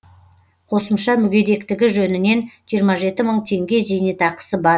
қосымша мүгедектігі жөнінен жиырма жеті мың теңге зейнетақысы бар